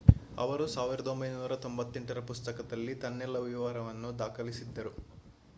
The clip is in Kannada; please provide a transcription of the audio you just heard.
ಅವರು 1998ರ ಪುಸ್ತಕದಲ್ಲಿ ತನ್ನೆಲ್ಲ ವಿವರವನ್ನು ದಾಖಲಿಸಿದ್ದರು